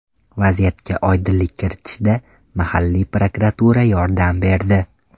Vaziyatga oydinlik kiritishda mahalliy prokuratura yordam berdi.